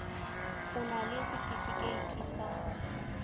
o na le setefikeiti sa